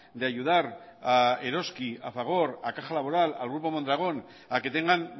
de ayudar a eroski a fagor a caja laboral al grupo mondragón a que tengan